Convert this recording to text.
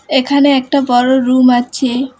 এখানে একটা বড়ো রুম আছে।